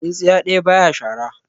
Tsintsiya ɗaya baya shara